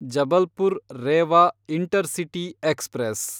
Jabalpur Rewa intercity express